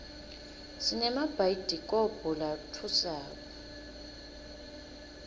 sinemabhayidikobho latfusako